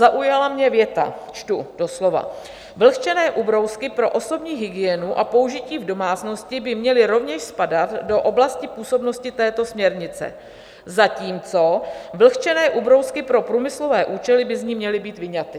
Zaujala mě věta, čtu doslova: "Vlhčené ubrousky pro osobní hygienu a použití v domácnosti by měly rovněž spadat do oblasti působnosti této směrnice, zatímco vlhčené ubrousky pro průmyslové účely by z ní měly být vyňaty."